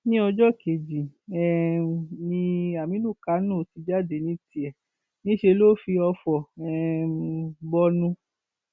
ní ọjọ kejì um ni aminu kánò ti jáde ní tiẹ níṣẹ lọ fi ọfọ um bọnu